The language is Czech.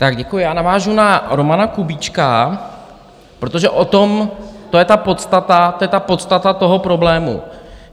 Tak děkuji, já navážu na Romana Kubíčka, protože o tom, to je ta podstata, to je ta podstata toho problému.